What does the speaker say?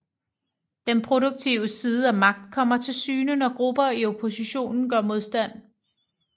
Den produktive side af magt kommer til syne når grupper i opposition gør modstand